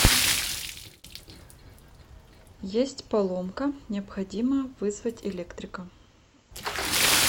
есть поломка необходимо вызвать электрика